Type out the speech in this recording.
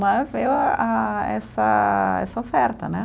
Né, vê a essa essa oferta, né?